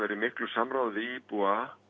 í miklu samráði við íbúa